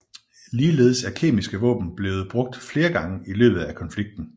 Ligeledes er kemiske våben blevet brugt flere gange i løbet af konflikten